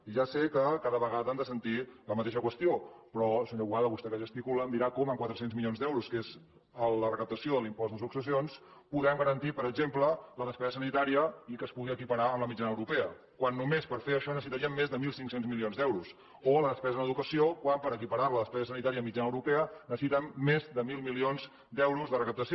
i ja sé que cada vegada han de sentir la mateixa qüestió però senyor boada vostè que gesticula em dirà com amb quatre cents milions d’euros que és la recaptació de l’impost de successions podem garantir per exemple la despesa sanitària i que es pugui equiparar amb la mitjana europea quan només per fer això necessitaríem més de mil cinc cents milions d’euros o la despesa en educació quan per equiparar la a la despesa mitjana europea necessitem més de mil milions d’euros de recaptació